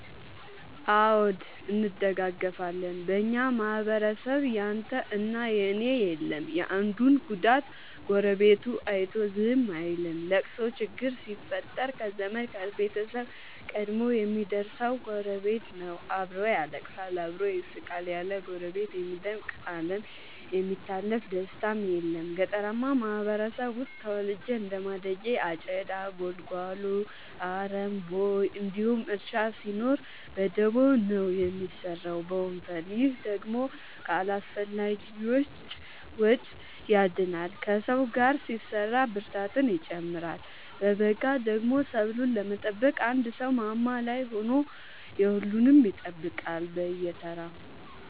አዎ እንደጋገፋለን በኛ ማህበረሰብ ያንተ እና የኔ የለም የአንዱን ጉዳት ጎረቤቱ አይቶ ዝም አይልም። ለቅሶ ችግር ሲፈጠር ከዘመድ ከቤተሰብ ቀድሞ የሚደር ሰው ጎረቤት ነው። አብሮ ያለቅሳል አብሮ ይስቃል ያለ ጎረቤት የሚደምቅ አለም የሚታለፍ ደስታም የለም። ገጠርአማ ማህበረሰብ ውስጥ ተወልጄ እንደማደጌ አጨዳ ጉልጎሎ አረም ቦይ እንዲሁም እርሻ ሲኖር በደቦ ነው የሚሰራው በወንፈል። ይህ ደግሞ ከአላስፈላጊዎቺ ያድናል ከሰው ጋር ሲሰራ ብርታትን ይጨምራል። በገዳደሞ ሰብሉን ለመጠበቅ አንድ ሰው ማማ ላይ ሆኖ የሁሉም ይጠብቃል በየተራ።